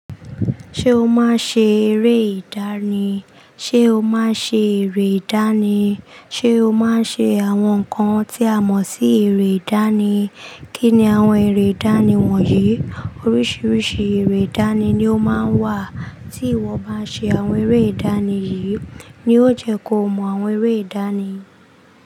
Ṣé o máa ń ṣe eré ìdánì? Ṣé o máa ń ṣe eré ìdánì? Ṣé o máa ń ṣe àwọn nǹkan tí a mọ̀ sí eré ìdánì? Kí ni àwọn eré ìdánì wọ̀nyí? Oríṣiríṣi eré ìdánì ni ó máa ń wà. Tí ìwọ bá ṣe àwọn eré ìdánì yìí ni ó jẹ́ kó mọ àwọn eré ìdánì.